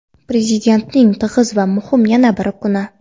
Prezidentning tig‘iz va muhim yana bir kuni.